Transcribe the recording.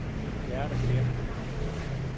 Gerda Gertsen